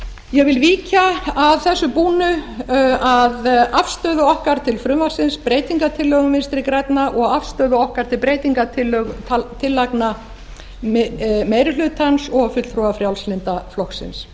ég vil víkja að þessu búnu að afstöðu okkar til frumvarpsins breytingartillögum vinstri grænna og afstöðu okkar til breytingartillagna meiri hlutans og fulltrúa frjálslynda flokksins